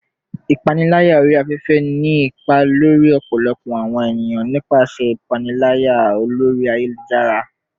Ipanilaya ori afefe ni ipa lori ọpọlọpọ awọn eniyan nipasẹ ipanilaya lori ayelujara